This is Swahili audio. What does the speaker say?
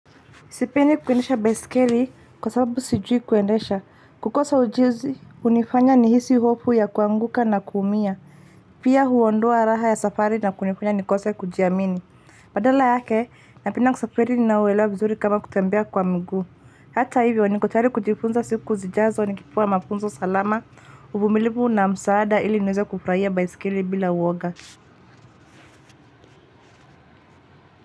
Sipendi kuendesha baiskeli kwa sababu sijui kuendesha kukosa ujuzi hunifanya nihisi hofu ya kuanguka na kuumia pia huondoa raha ya safari na kunifanya nikose kujiamini badala yake napenda kusafari ninauelewa vizuri kama kutembea kwa miguu hata hivyo niko tayari kujifunza siku zijazo nikipewa mafunzo salama uvumilivu una msaada ili niweze kufurahia baiskeli bila uwoga.